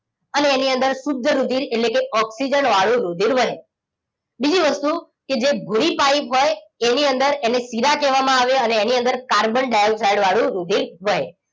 અને અણી અંદર શુદ્ધ રુધિર એટલે કે ઓક્સિજન વાળું રુધિર વહે બીજી વસ્તુ કે જે ઘુડી પાઇપ હોય એની અંદર એને શીરા કેવા માં આવે અને એની અંદર કાર્બન ડાઇઓક્સાઇડ વાળું રુધિર વહે